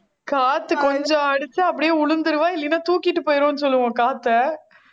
காத்து கொஞ்சம் அடிச்சா அப்படியே விழுந்திருவா இல்லைன்னா தூக்கிட்டு போயிருவேன்னு சொல்லுவோம் காத்தை